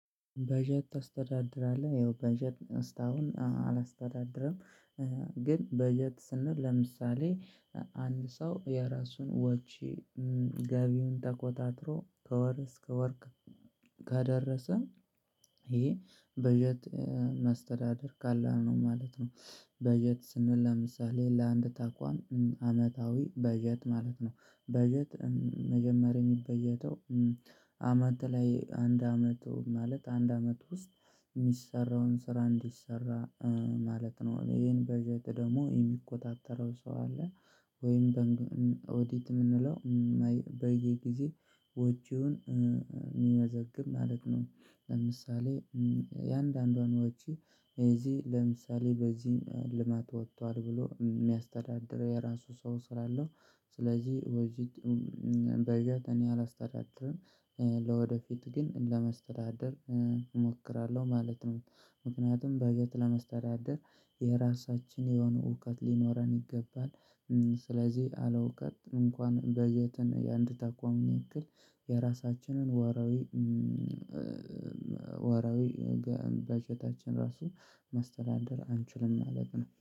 በጀት ታስተዳድራለህ ያው በጀት እስታሁን አላስተዳድርም ግን በጀት ስንል ለምሳሌ አንድ ሰው የራሱን ወጪ ገቢውን ተቆጣጥሮ ከወር እስከ ከወር ከደረሰ ይሄ በጀት ማስተዳደር ቀላል ነው ማለት ነው። በጀት ስንል ለምሳሌ ለአንድ ተቋም አመታዊ በጀት ማለት ነው በጀት መጀመሪያ የሚበጀተው አመት ላይ አንድ አመት ማለት አንድ አመት ውስጥ የሚሰራውን ስራ እንዲሰራ ማለት ነው ይሄን በጀት ደግሞ የሚቆጣጠረው ሰው አለ ወይም ኦዲት የምንለው በየጊዜው ወጪውን የሚመዘግብ ማለት ነው ለምሳሌ እያንዳንዷን ወጪ እዚህ ለምሳሌ በዚህም ልማት ወጥቷል ብሎ የሚያስተዳድረው የራሱ ሰው ስላለው ስለዚህ በጀት በጀት እኔ አላስተዳድርም ለወደፊት ግን ለማስተዳደር እሞክራለሁ ማለት ነው ምክንያቱም በጀት ለማስተዳደር የራሳችን የሆነ እውቀት ሊኖረን ይገባል ስለዚህ ያለ እውቀት እንኳን በጀትን የአንድ ተቋምን ያክል የራሳችንን ወርሃዊ ወርሃዊ በጀታችንን ራሱ ማስተዳደር አንችልም ማለት ነው